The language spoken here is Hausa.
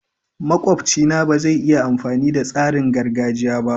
Makwabci na ba zai iya amfani da tsarin gargajiya ba.